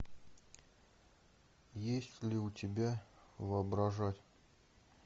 есть ли у тебя воображать